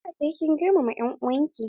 Dole sai kin girmama en'uwan ki!